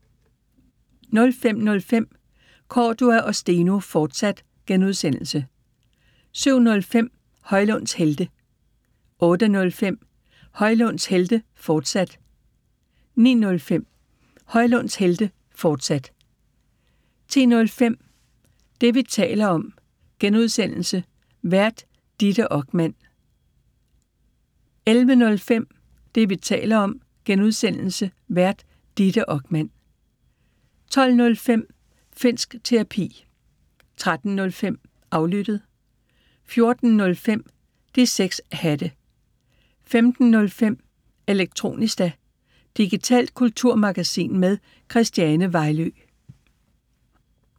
05:05: Cordua & Steno, fortsat (G) 07:05: Højlunds Helte 08:05: Højlunds Helte, fortsat 09:05: Højlunds Helte, fortsat 10:05: Det, vi taler om (G) Vært: Ditte Okman 11:05: Det, vi taler om (G) Vært: Ditte Okman 12:05: Finnsk Terapi 13:05: Aflyttet 14:05: De 6 Hatte 15:05: Elektronista – digitalt kulturmagasin med Christiane Vejlø